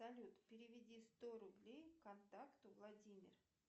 салют переведи сто рублей контакту владимир